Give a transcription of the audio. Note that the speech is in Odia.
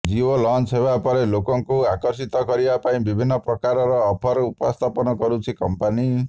ଜିଓ ଲଂଚ ହେବାପରେ ଲୋକଙ୍କୁ ଆକର୍ଷିତ କିରବା ପାଇଁ ବିଭିନ୍ନ ପ୍ରକାର ଅଫର ଉପସ୍ଥାପନ କରୁଛି କମ୍ପାନୀ